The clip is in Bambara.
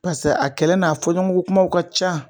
Pase a kɛlɛ n'a fɔɲɔgɔn kumaw ka ca